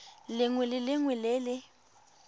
lengwe le lengwe le le